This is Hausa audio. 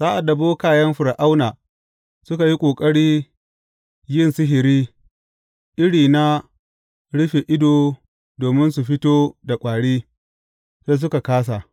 Sa’ad da bokayen Fir’auna suka yi ƙoƙari yin sihiri iri na rufe ido domin su fito da kwari, sai suka kāsa.